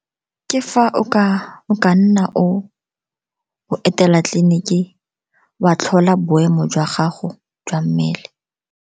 Ke fa o ka nna o etela tleliniki, wa tlhola boemo jwa gago jwa mmele.